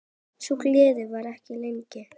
Sú gleði varði ekki lengi.